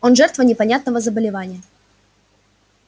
он жертва непонятного заболевания